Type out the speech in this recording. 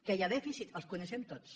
que hi ha dèficits els coneixem tots